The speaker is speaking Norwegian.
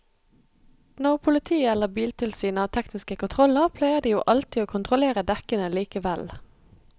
Når politiet eller biltilsynet har tekniske kontroller pleier de jo alltid å kontrollere dekkene likevel.